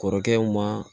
Kɔrɔkɛw ma